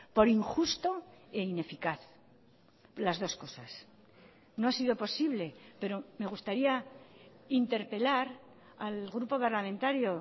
por injusto e ineficaz las dos cosas no ha sido posible pero me gustaría interpelar al grupo parlamentario